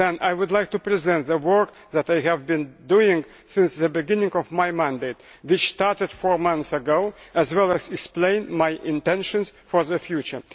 I would like to present the work that I have been doing since the beginning of my mandate, which started four months ago, as well as explain my intentions for the future.